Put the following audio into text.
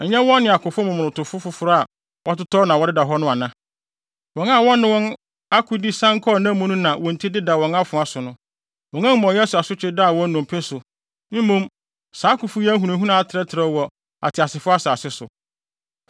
Ɛnyɛ wɔn ne akofo momonotofo foforo a wɔatotɔ na wɔdeda hɔ no ana? Wɔn a wɔne wɔn akode sian kɔɔ nna mu na wɔn ti deda wɔn afoa so no. Wɔn amumɔyɛ so asotwe daa wɔn nnompe so, mmom saa akofo yi ahunahuna atrɛtrɛw wɔ ateasefo asase so.